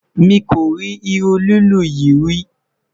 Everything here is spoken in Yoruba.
mí kori irú lilu yí rí